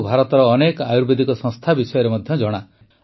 ତାଙ୍କୁ ଭାରତର ଅନେକ ଆୟୁର୍ବେଦିକ ସଂସ୍ଥା ବିଷୟରେ ମଧ୍ୟ ଜଣା